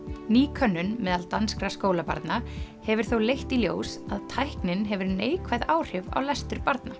ný könnun meðal danskra skólabarna hefur þó leitt í ljós að tæknin hefur neikvæð áhrif á lestur barna